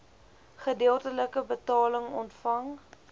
gedeeltelike betaling ontvang